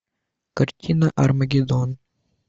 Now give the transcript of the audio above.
картина армагеддон